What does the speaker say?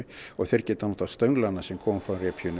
og þeir geta notað stönglana sem koma frá